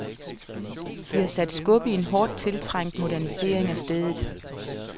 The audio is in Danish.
De har sat skub i en hårdt tiltrængt modernisering af stedet.